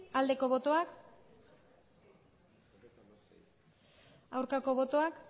aldeko botoak aurkako botoak